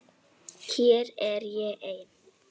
Hér er ég ein.